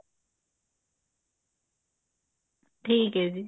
ਠੀਕ ਹੈ ਜੀ